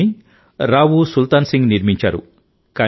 దీన్ని రావు సుల్తాన్ సింగ్ నిర్మించారు